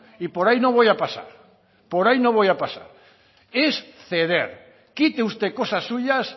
y por ahí no voy a pasar por ahí no voy a pasar es ceder quite usted cosas suyas